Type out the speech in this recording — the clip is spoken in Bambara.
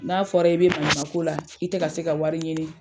N'a fɔra i be maɲuman ko la, i te ka se ka wari ɲini